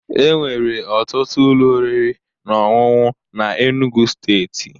Enwere ọtụtụ ụlọ oriri na ọṅụṅụ na Enugwu Steeti